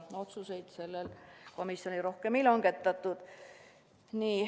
Rohkem otsuseid sellel istungil ei langetatud.